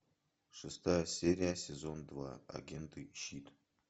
шестая серия сезон два агенты щит